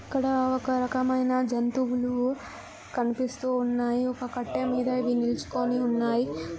ఇక్కడ ఒక్కరకమైన జంతువులు కనిపిస్తున్నాయి ఒక్క కట్టమీద నిల్చుకొని ఉన్నాయి.